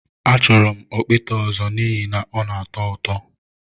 Achọrọ m okpete ọzọ n'ihi na ọ na-atọ ụtọ